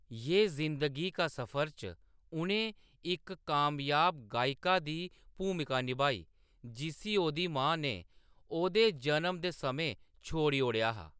यह जिंदगी का सफर च उʼनें इक कामयाब गायका दी भूमिका नभाई, जिस्सी ओह्‌‌‌दी मां ने ओह्‌‌‌दे जनम दे समें छोड़ी ओड़ेआ हा।